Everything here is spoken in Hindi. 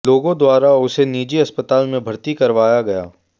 लोगों द्वारा उसे निजी अस्पताल में भर्ती करवाया गया